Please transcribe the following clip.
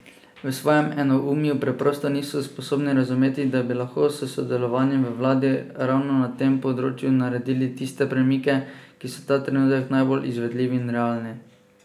V svojem enoumju preprosto niso sposobni razumeti, da bi lahko s sodelovanjem v vladi ravno na tem področju naredili tiste premike, ki so ta trenutek najbolj izvedljivi in realni.